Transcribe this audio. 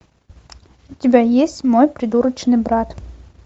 у тебя есть мой придурочный брат